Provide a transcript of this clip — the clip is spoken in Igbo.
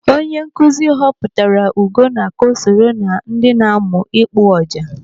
Onye nkụzi họpụtara Ugonna ka ọ soro ná ndị na-amụ ịkpụ ọjà.